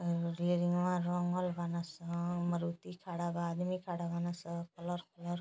Railing में रंगल बना सन। मारुति खड़ा बा। आदमी खड़ा बानसन। Colour colour --